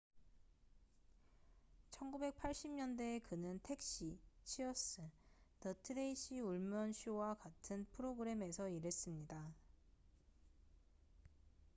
1980년대에 그는 택시 치어스 더 트레이시 울먼 쇼와 같은 프로그램에서 일했습니다